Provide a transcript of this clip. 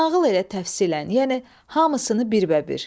Nağıl elə təfsillən, yəni hamısını bir bə bir.